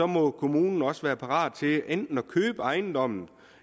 må kommunen også være parat til enten at købe ejendommen